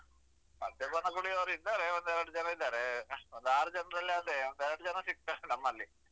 ಮದ್ಯಪಾನ ಕುಡಿಯೋರು ಇದ್ದಾರೆ ಒಂದೆರಡ್ ಜನ ಇದ್ದಾರೆ ಒಂದಾರ್ ಜನರಲ್ಲಿ ಅದೇ ಒಂದೆರಡ್ ಜನ ಸಿಕ್ತಾರೆ ನಮ್ಮಲ್ಲಿ.